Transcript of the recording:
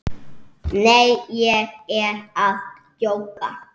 Nei, ég er að djóka.